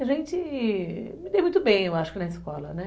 A gente me deu muito bem, eu acho, na escola, né